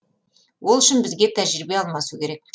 ол үшін бізге тәжірибе алмасу керек